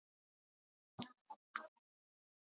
Í langflestum tilvikum hætti hún alveg að skila steinvölunni.